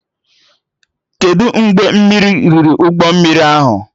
Kedụ mgbe mmiri riri ụgbọ mmiri ahụ?